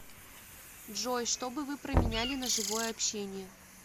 джой что бы вы променяли на живое общение